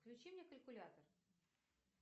включи мне калькулятор